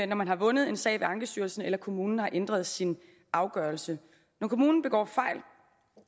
man har vundet en sag ved ankestyrelsen eller kommunen har ændret sin afgørelse når kommunen begår fejl